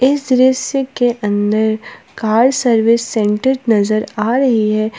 इस दृश्य के अंदर कार सर्विस सेंटर नजर आ रही है।